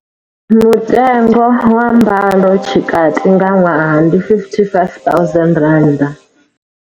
Mutengo wa mbalotshikati nga ṅwaha ndi R55 000.